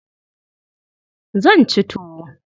Zan ci tuwo.